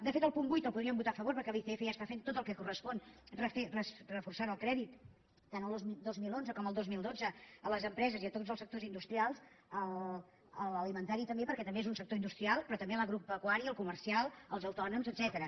de fet el punt vuit el po·dríem votar a favor perquè l’icf ja està fent tot el que correspon reforçant el crèdit tant el dos mil onze com el dos mil dotze a les empreses i a tots els sectors industrials l’alimen·tari també perquè també és un sector industrial pe·rò també l’agropecuari el comercial els autònoms et·cètera